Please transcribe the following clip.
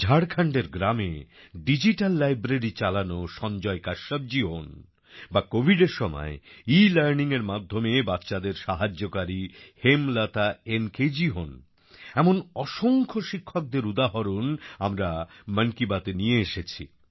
ঝাড়খণ্ডের গ্রামে digital library চালানো সঞ্জয় কাশ্যপ জি হোন বা Covidএর সময় Elearningএর মাধ্যমে বাচ্চাদের সাহায্যকারী হেমলতা এন কে জি হোন এমন অসংখ্য শিক্ষকদের উদাহরণ আমরা মন কি বাতএ নিয়ে এসেছি